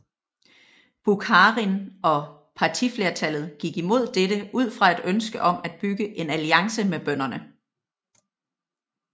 Bukharin og partiflertallet gik imod dette ud fra et ønske om at bygge en alliance med bønderne